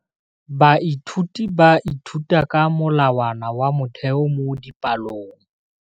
Baithuti ba ithuta ka molawana wa motheo mo dipalong.